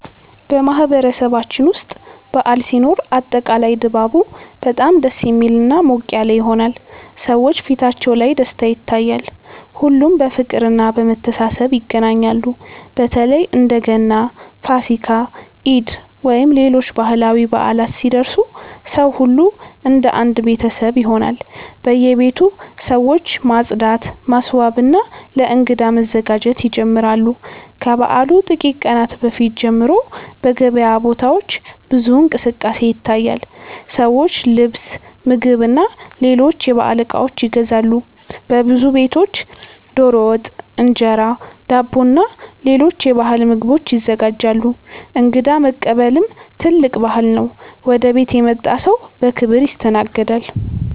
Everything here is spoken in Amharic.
በማህበረሰባችን ውስጥ በዓል ሲኖር አጠቃላይ ድባቡ በጣም ደስ የሚልና ሞቅ ያለ ይሆናል። ሰዎች ፊታቸው ላይ ደስታ ይታያል፣ ሁሉም በፍቅርና በመተሳሰብ ይገናኛሉ። በተለይ እንደ ገና፣ ፋሲካ፣ ኢድ ወይም ሌሎች ባህላዊ በዓላት ሲደርሱ ሰው ሁሉ እንደ አንድ ቤተሰብ ይሆናል። በየቤቱ ሰዎች ማጽዳት፣ ማስዋብና ለእንግዳ መዘጋጀት ይጀምራሉ። ከበዓሉ ጥቂት ቀናት በፊት ጀምሮ በገበያ ቦታዎች ብዙ እንቅስቃሴ ይታያል፤ ሰዎች ልብስ፣ ምግብና ሌሎች የበዓል እቃዎች ይገዛሉ። በብዙ ቤቶች ዶሮ ወጥ፣ እንጀራ፣ ዳቦና ሌሎች የባህል ምግቦች ይዘጋጃሉ። እንግዳ መቀበልም ትልቅ ባህል ነው፤ ወደ ቤት የመጣ ሰው በክብር ይስተናገዳል።